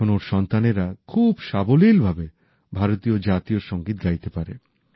এখন ওঁর সন্তানেরা খুব সাবলীল ভাবে ভারতের জাতীয় সংগীত গাইতে পারে